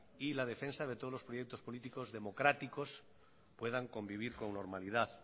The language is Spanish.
y la defensa de todos los proyectos políticos democráticos pueden convivir con normalidad